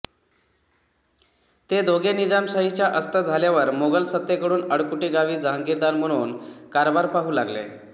ते दोघे निजामशाहीचा अस्त झाल्यावर मोगल सत्तेकडून अळकुटी गावी जहागीरदार म्हणून कारभार पाहू लागले